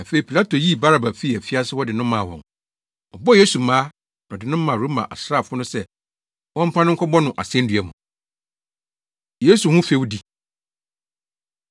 Afei Pilato yii Baraba fii afiase hɔ de no maa wɔn. Ɔbɔɔ Yesu mmaa, na ɔde no maa Roma asraafo no sɛ wɔmfa no nkɔbɔ no asennua mu. Yesu Ho Fɛwdi